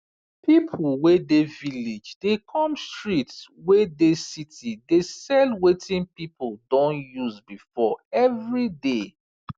pipu wey dey village dey come street wey dey city dey sell wetin pipu don use before every day